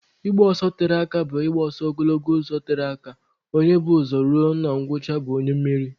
Ịgba ọsọ tere aka bụ igba ọsọ ogologo ụzọ tere aka, onye bu ụzọ ruo na ngwụcha bụ onye mmeri